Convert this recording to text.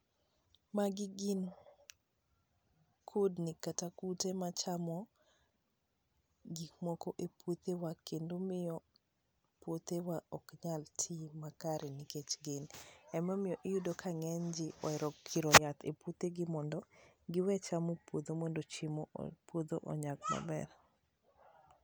magi gi kudni kata kute machamo gik moko e puothewa kendo miyo puothewa ok nyal ti makare nikech gin emo miyo iyudo ka ngany ji ohero kiro yath e puothe gi mondo giwe chamo chiemo mondo puodho onyag maber